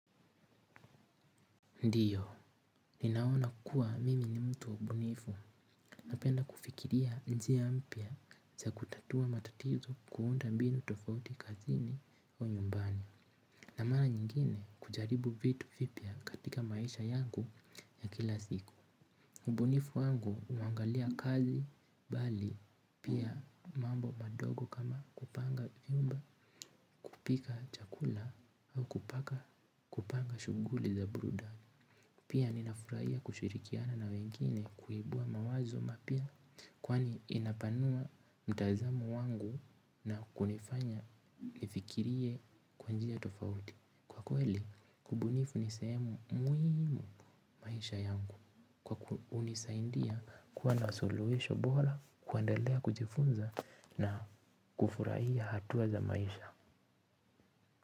Ndiyo, ninaona kuwa mimi ni mtu mbunifu, na penda kufikiria njia mpya za kutatua matatizo, kuunda mbinu tofauti kazini au nyumbani. Na mara nyingine kujaribu vitu vipya katika maisha yangu ya kila siku ubunifu wangu huangalia kazi bali pia mambo madogo kama kupanga vyumba, kupika chakula au kupaka kupanga shughuli za burudani. Pia ninafurahia kushirikiana na wengine kuibua mawazo mapya. Kwani inapanua mtazamo wangu na kunifanya nifikirie kwa njia tofauti. Kwa kweli ubunifu nisehemu muhimu maisha yangu, kwa kunisaidia kuwa na suluhisho bora kuendelea kujifunza na kufurahia hatuwa za maisha.